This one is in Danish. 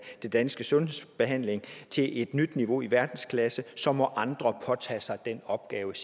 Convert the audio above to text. dansk sundhedsbehandling til et nyt niveau i verdensklasse så må andre påtage sig den opgave